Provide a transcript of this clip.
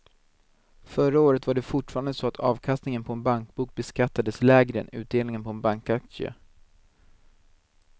Förra året var det fortfarande så att avkastningen på en bankbok beskattades lägre än utdelningen på en bankaktie.